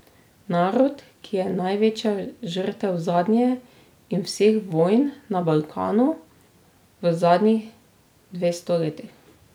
Narod, ki je največja žrtev zadnje in vseh vojn na Balkanu v zadnjih dvesto letih.